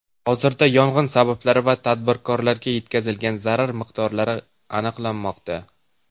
Hozirda yong‘in sabablari va tadbirkorlarga yetkazilgan zarar miqdori aniqlanmoqda.